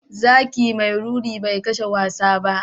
Zaki mai ruri bai kashe wasa ba.